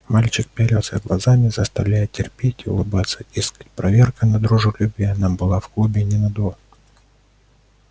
мальчикам пялился глазами заставляя терпеть и улыбаться дескать проверка на дружелюбие нам была в клубе не надо